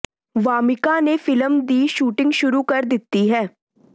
ਵਾਮਿਕਾ ਨੇ ਫਿਲਮ ਦੀ ਸ਼ੂਟਿੰਗ ਸ਼ੁਰੂ ਕਰ ਦਿੱਤੀ ਹੈ